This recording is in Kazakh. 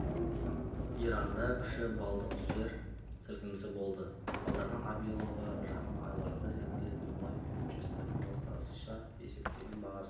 иранда күші балдық жер сілкінісі болды аударған абилова жақын айларда жеткізілетін мұнай фьючерстерінің орташа есептеген бағасы